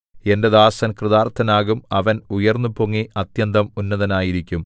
എന്റെ ദാസൻ കൃതാർത്ഥനാകും അവൻ ഉയർന്നുപൊങ്ങി അത്യന്തം ഉന്നതനായിരിക്കും